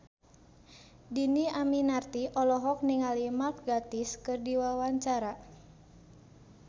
Dhini Aminarti olohok ningali Mark Gatiss keur diwawancara